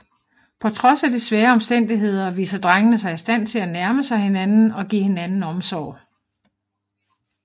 På trods af de svære omstændigheder viser drengene sig i stand til at nærme sig hinanden og give hinanden omsorg